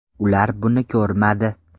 Ular buni ko‘rmadi”.